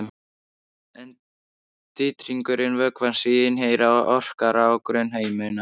En titringur vökvans í inneyra orkar á grunnhimnuna.